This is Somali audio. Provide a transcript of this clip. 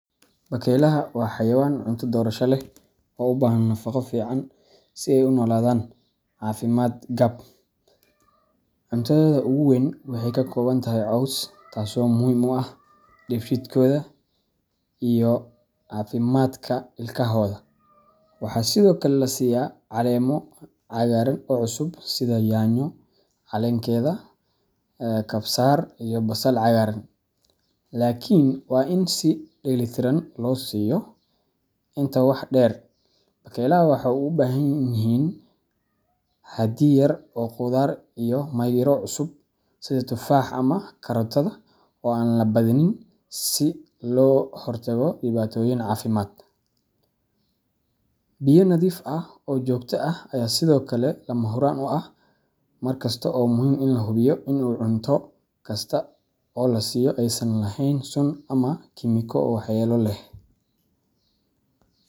Bakeylaha waa xayawaan cunto doorasho leh oo u baahan nafaqo fiican si ay u noolaadaan caafimaad qab. Cuntadooda ugu weyn waxay ka kooban tahay caws, taasoo muhiim u ah dheefshiidkooda iyo caafimaadka ilkahooda. Waxaa sidoo kale la siiyaa caleemo cagaaran oo cusub sida yaanyo caleenkeeda, kabsar, iyo basal cagaaran, laakiin waa in si dheellitiran loo siiyo. Intaa waxaa dheer, bakeylaha waxay u baahan yihiin xaddi yar oo khudaar iyo miro cusub, sida tufaax ama karootada, oo aan la badinin si looga hortago dhibaatooyin caafimaad. Biyo nadiif ah oo joogto ah ayaa sidoo kale lama huraan u ah. Mar kasta waa muhiim in la hubiyo in cunto kasta oo la siinayo aysan lahayn sun ama kiimiko waxyeello leh.